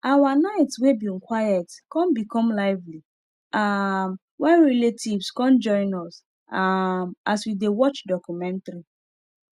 our night wey bin quiet come become lively um when relatives come join us um as we dey watch documentary